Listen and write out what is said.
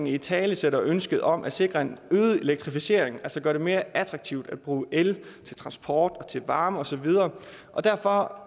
italesætter ønsket om at sikre en øget elektrificering og gør det mere attraktivt at bruge el til transport og varme og så videre derfor